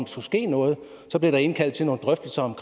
skulle ske noget og så blev der indkaldt til nogle drøftelser om